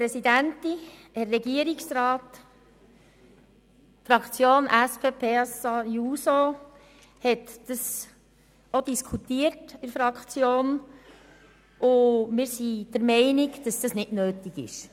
Die SP-JUSO-PSA-Fraktion hat dies auch diskutiert und wir sind der Meinung, dass das nicht nötig ist.